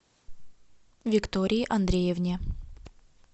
виктории андреевне